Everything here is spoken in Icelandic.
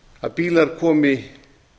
að bílar komi